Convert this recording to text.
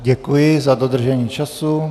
Děkuji za dodržení času.